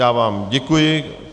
Já vám děkuji.